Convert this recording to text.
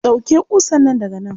Ɗauke ƙusan nan daga nan.